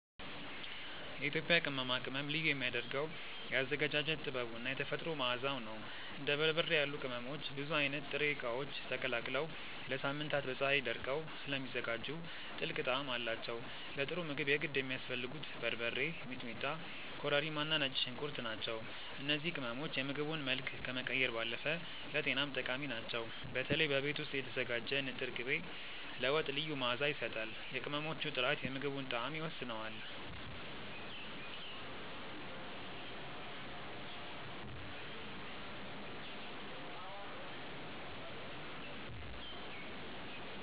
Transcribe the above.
የኢትዮጵያ ቅመማ ቅመም ልዩ የሚያደርገው የአዘገጃጀት ጥበቡ እና የተፈጥሮ መዓዛው ነው። እንደ በርበሬ ያሉ ቅመሞች ብዙ አይነት ጥሬ እቃዎች ተቀላቅለው ለሳምንታት በፀሀይ ደርቀው ስለሚዘጋጁ ጥልቅ ጣዕም አላቸው። ለጥሩ ምግብ የግድ የሚያስፈልጉት በርበሬ፣ ሚጥሚጣ፣ ኮረሪማ እና ነጭ ሽንኩርት ናቸው። እነዚህ ቅመሞች የምግቡን መልክ ከመቀየር ባለፈ ለጤናም ጠቃሚ ናቸው። በተለይ በቤት ውስጥ የተዘጋጀ ንጥር ቅቤ ለወጥ ልዩ መዓዛ ይሰጣል። የቅመሞቹ ጥራት የምግቡን ጣዕም ይወስነዋል።